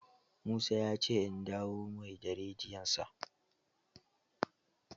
Musa ya ce in dawo mai da rediyon sa